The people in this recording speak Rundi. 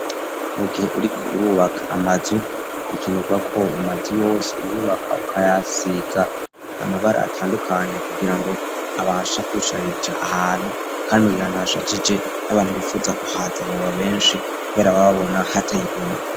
Mu gihe uriko urubaka amazu bikenerwako amazu yose yubaka ukayasiga amabara atandukanya kugira ngo abashe kushariza ahantu kandi mugihe ahantu hashajije abantu bifuza kuhaza abababa benshi kubera baba babona hateye igomwe.